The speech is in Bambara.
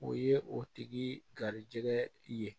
O ye o tigi garijɛgɛ ye